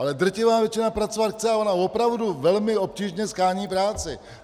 Ale drtivá většina pracovat chce, a ona opravdu velmi obtížně shání práci!